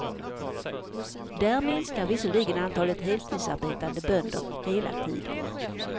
Där minskar visserligen antalet heltidsarbetande bönder hela tiden.